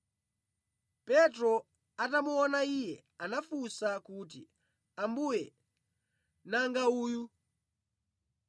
Petro atamuona iye, anafunsa kuti, “Ambuye, nanga uyu?”